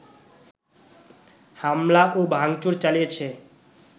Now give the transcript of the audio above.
হামলা ও ভাংচুর চালিয়েছে